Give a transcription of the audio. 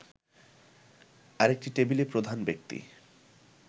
আরেকটি টেবিলে প্রধান ব্যক্তি